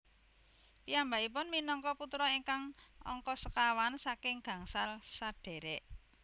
Piyambakipun minangka putra ingkang angka sekawan saking gangsal sadhèrèk